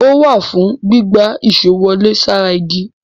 Ó wà fùn ún gbígbá èṣó wọlé sára igi.